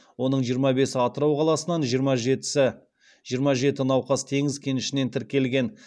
оның жиырма бесі атырау қаласынан жиырма жетісі жиырма жеті науқас теңіз кенішінен тіркелген